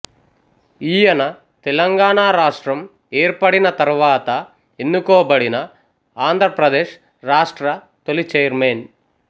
ఈయన తెలంగాణ రాష్ట్రం ఏర్పడిన తరువాత ఎన్నుకోబడిన ఆంద్రప్రదేశ్ రాష్ట్ర తొలి చైర్మన్